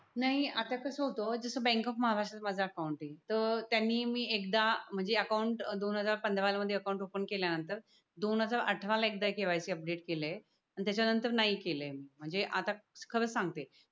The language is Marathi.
नाही आता कसं होतं जस बँक ऑफ महाराष्ट्र माझा अकाउंट तर त्यांनी मी एकदा म्हणजे अकाउंट दोन हजार पंधरा मध्ये माझा अकाउंट ओपन केल्यानंतर दोन हजार अठरा ला एकदा KYC अपडेट केले आणि त्याच्यानंतर नाही केलं मी म्हनजे आता खर सांगते